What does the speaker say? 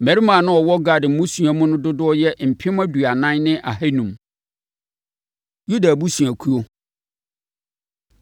Mmarima a na wɔwɔ Gad mmusua mu no dodoɔ yɛ mpem aduanan ne ahanum (40,500). Yuda Abusuakuo